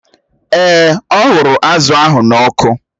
Èè, ọ ghụrụ azụ̀ ahụ n'ọkụ